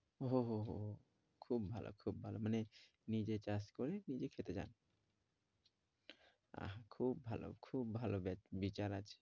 ও হো হো খুব ভালো খুব ভালো, মানে নিজে চাষ করে নিজে খেতে চান আহ খুব ভালো, খুব ভালো বিচার আছে।